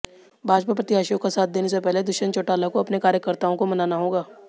भाजपा प्रत्याशियों का साथ देने से पहले दुष्यंत चौटाला को अपने कार्यकर्ताओं को मनाना होगा